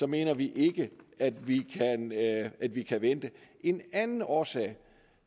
mener vi at vi at vi kan vente en anden årsag